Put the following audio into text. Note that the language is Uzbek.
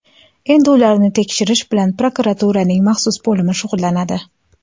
Endi ularni tekshirish bilan prokuraturaning maxsus bo‘limi shug‘ullanadi.